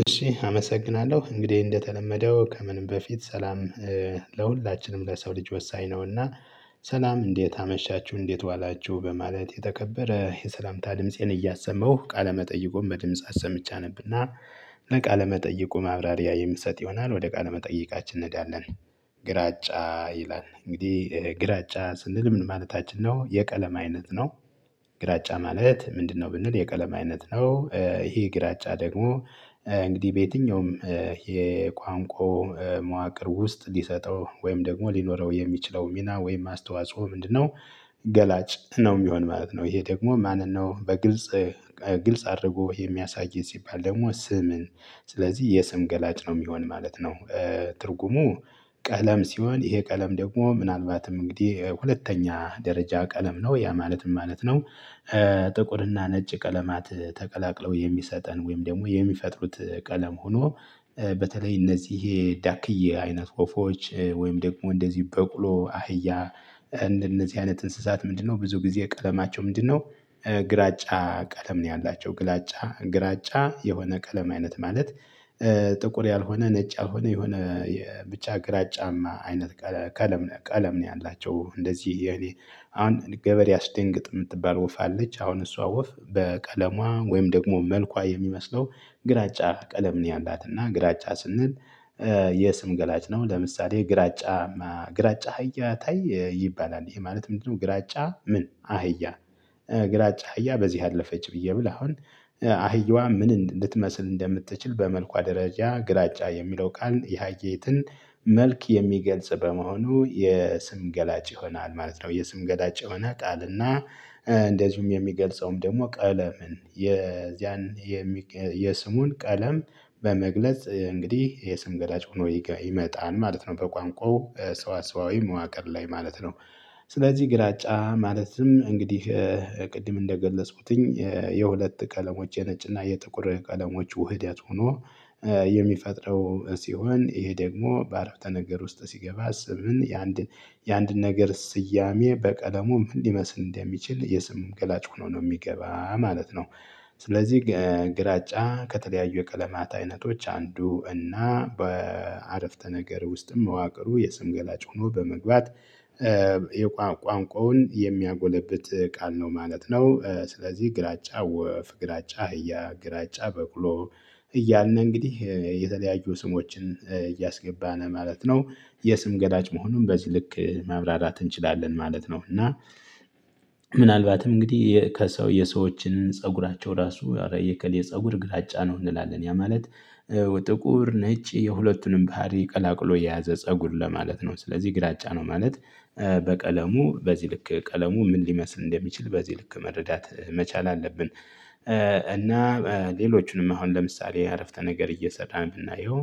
እሺ አመሰግናለሁ እንግዲህ እንደተለመደው ከምንም በፊት ሰላም ለሁላችንም ለሰው ልጅ ወሳኝ ነውና። ሰላም እንዴት አመሻችሁ እንዴት ዋላችሁ በማለት የተከበረ የሰላምታ ድምፄን እያሰመሁ ቃለመጠይቆን በድምጻት ሰምቻ አነብና ለቃለመጠይቁ ማብራሪያ የምትሰጥ ይሆናል ወደ ቃለመጠይቃችን እንሄዳለን። ግራጫ ይላል እንግዲህ ግራጫ ስንል ምን ማለታችን ነው የቀለም አይነት ነው። ግራጫ ማለት ምንድነው? ብንል የቀለም አይነት ነው ይሄ ግራጫ ደግሞ እንግዲህ በየትኛውም የቋንቋው መዋቅር ውስጥ ሊሰጠው ወይም ደግሞ ሊኖረው የሚችለው ሚና ወይም ማስተዋጽሁ ምንድነው? ገላጭ ነው የሚሆን ማለት ነው። ይሄ ደግሞ ማንን ነው በግልጽ ግልጽ አድርጎ የሚያሳይ ሲባል ደግሞ ስምን ስለዚህ የስም ገላጭ ነው የሚሆን ማለት ነው። ትርጉሙ ቀለም ሲሆን ይሄ ቀለም ደግሞ ምናልባትም እንግዲህ ሁለተኛ ደረጃ ቀለም ነው ያ ማለት ምን ማለት ነው? ጥቁርና ነጭ ቀለማት ተቀላቅለው የሚሰጠን ወይም ደግሞ የሚፈጥሩት ቀለም ሆኖ በተለይ እነዚህ ዳክዬ አይነት ወፎች ወይም ደግሞ እንደዚህ በቅሎ አህያ እንደነዚህ አይነት እንስሳት ምንድነው ብዙ ጊዜ ቀለማቸው ምንድነው? ግራጫ ቀለም ነው ያላቸው። ግራጫ የሆነ ቀለም አይነት ማለት ጥቁር ያልሆነ ነጭ ያልሆነ የሆነ ብቻ ግራጫማ አይነት ቀለም ነው ቀለም ነው ያላቸው እንደዚህ አሁን ገበሬ አስደንግጥ የምትባል ወፍ አለች። አሁን እሷ ወፍ በቀለሟ ወይም ደግሞ መልኳ የሚመስለው ግራጫ ቀለም ነው ያላትና ግራጫ ስንል። የስም ገላጭ ነው ለምሳሌ ግራጫ ግራጫ አህያ ታዬ ይባላል ይሄ ማለት ምንድነው? ግራጫ ምን አህያ ግራጫ አህያ በዚህ አለፈች ብዬ ብል አሁን። አህያዋ ምን እንድትመስል እንደምትችል በመልኳ ደረጃ ግላጫ የሚለው ቃል የሃየትን መልክ የሚገልጽ በመሆኑ የስም ገላጭ ይሆናል ማለት ነው። የስም ገላጭ የሆነ ጣልና እንደዚሁም የሚገልጸውም ደግሞ ቀለምን የዚያን የስሙን ቀለም በመግለጽ እንግዲህ የስም ገዳጭ ሆኖ ይመጣን ማለት ነው። በቋንቋው ሰዋሰዋዊ መዋቅር ላይ ማለት ነው። ስለዚህ ግራጫ ማለትም እንግዲህ ቅድም እንደገለጽኩትኝ የሁለት ቀለሞች የነጭና የጥቁር ቀለሞች ውህዴት ሆኖ የሚፈጥረው ሲሆን ይሄ ደግሞ በአረፍተ ነገር ውስጥ ሲገባ ስምን የአንድ የአንድን ነገር ስያሜ በቀለሙ ምን ሊመስል እንደሚችል የስም ገላጭ ሆኖ ነው የሚገባ ማለት ነው። ስለዚህ ግራጫ ከተለያዩ የቀለማት አይነቶች አንዱ እና በአረፍተ ነገር ውስጥም መዋቅሩ የስም ገላጭ ሆኖ በመግባት የቋንቋውን የሚያጎለብት ቃል ነው ማለት ነው። ስለዚህ ግራጫ ወፍ ግራጫ አህያ ግራጫ በቅሎ እያልን ነው እንግዲህ የተለያዩ ስሞችን እያስገባን ማለት ነው። የስም ገላጭ መሆኑን በዚህ ልክ ማብራራት እንችላለን ማለት ነው። እና ምናልባትም እንግዲህ ከሰው የሰዎችን ፀጉራቸው ራሱ የፀጉር ግላጫ ነው እንላለን ያ ማለት ጥቁር ነጭ የሁለቱንም ባህሪ ቀላቅሎ የያዘ ፀጉር ለማለት ነው ስለዚህ ግራጫ ነው። ማለት በቀለሙ በዚህ ልክ ቀለሙ ምን ሊመስል እንደሚችል በዚህ ልክ መረዳት መቻል አለብን። እና ሌሎቹንም አሁን ለምሳሌ አረፍተ ነገር እየሰራ የምናየው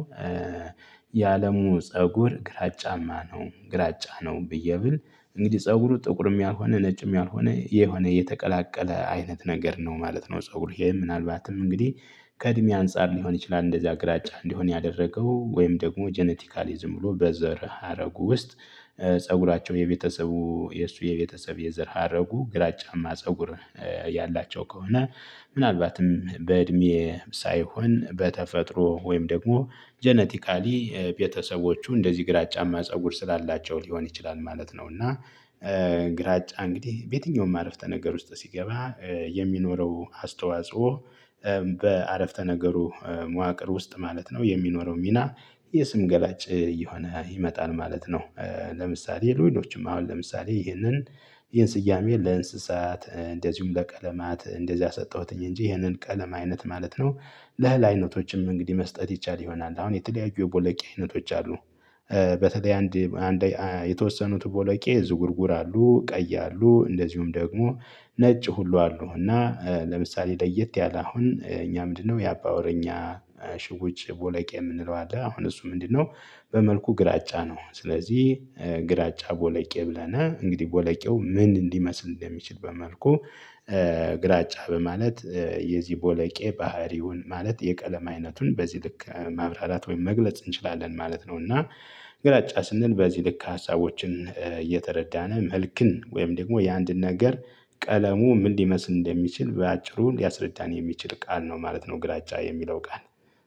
የአለሙ ፀጉር ግራጫማ ነው። ግራጫ ነው ብዬ ብል እንግዲህ ፀጉሩ ጥቁርም ያልሆነ ነጭም ያልሆነ የሆነ የተቀላቀለ አይነት ነገር ነው ማለት ነው። ፀጉሩ ይሄ ምናልባትም እንግዲህ ከእድሜ አንፃር ሊሆን ይችላል እንደዚያ ግራጫ እንዲሆን ያደረገው ወይም ደግሞ ጄኔቲካሊ ዝም ብሎ በዘር ሀረጉ ውስጥ። ፀጉራቸው የቤተሰቡ የእሱ የቤተሰብ የዘር ሀረጉ ግራጫማ ፀጉር ያላቸው ከሆነ። ምናልባትም በእድሜ ሳይሆን በተፈጥሮ ወይም ደግሞ ጀነቲካሊ ቤተሰቦቹ እንደዚህ ግራጫማ ፀጉር ስላላቸው ሊሆን ይችላል ማለት ነው። እና ግራጫ እንግዲህ በየትኛውም አረፍተ ነገር ውስጥ ሲገባ የሚኖረው አስተዋጽኦ በአረፍተ ነገሩ መዋቅር ውስጥ ማለት ነው የሚኖረው ሚና የስም ገላጭ እየሆነ ይመጣል ማለት ነው። ለምሳሌ ሉዊኖችም አሁን ለምሳሌ ይሄንን ይሄን ስያሜ ለእንስሳት እንደዚሁም ለቀለማት እንደዚያ ሰጠሁትኝ እንጂ ይሄንን ቀለንም አይነት ማለት ነው። ላህል አይነቶችም እንግዲህ መስጠት ይቻል ይሆናል አሁን የተለያዩ የቦልቄ አይነቶች አሉ። በተለይ አንድ የተወሰኑት ቦለቄ ዝጉርጉር አሉ ቀይ አሉ እንደዚሁም ደግሞ ነጭ ሁሉ አሉ እና ለምሳሌ ለየት ያለ አሁን እኛ ምንድነው የአባ ወሬኛ ሽውጭ ቦለቄ የምንለው አለ አሁን እሱ ምንድነው? በመልኩ ግራጫ ነው ስለዚህ ግራጫ ቦለቄ ብለናል እንግዲህ ቦለቄው ምን እንዲመስል እንደሚችል በመልኩ ግራጫ በማለት የዚህ ቦለቄ ባህሪውን ማለት የቀለም አይነቱን በዚህ ልክ ማብራራት ወይም መግለጽ እንችላለን ማለት ነው። እና ግራጫ ስንል በዚህ ልክ ሀሳቦችን እየተረዳን መልክን ወይም ደግሞ የአንድ ነገር ቀለሙ ምን ሊመስል እንደሚችል በአጭሩ ሊያስረዳን የሚችል ቃል ነው ማለት ነው። ግራጫ የሚለው ቃል